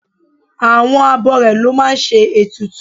Àwọn abọrẹ̀ ló máa ń ṣe ètùtù